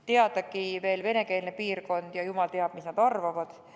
Teadagi ju, venekeelne piirkond ja jumal teab, mis nad arvavad.